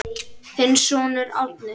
Þinn sonur Árni.